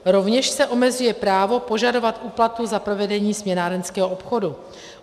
Rovněž se omezuje právo požadovat úplatu za provedení směnárenského obchodu.